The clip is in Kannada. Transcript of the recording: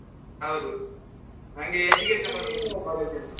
ಹೌದು ನಂಗೆ education ಬಗ್ಗೆ